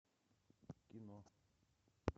кино